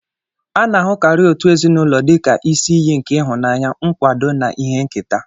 A na-ahụkarị òtù ezinụlọ dị ka isi iyi nke ịhụnanya, nkwado, na ihe nketa